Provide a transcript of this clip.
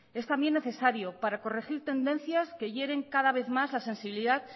es también necesario para corregir tendencias que hieren cada vez más la sensibilidad